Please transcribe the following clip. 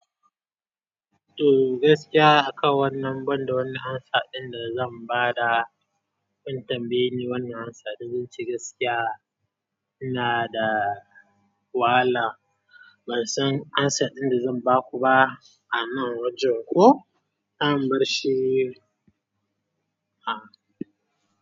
To gaskiya akan wannan, banda wani amsa ɗin da zan ba da, kun tambayi ni wannan amsa, da zan ce gaskiya ina da wala. Ban san amsa ɗin da zan ba ku ba, a nan wajen koh, an bar shi, a.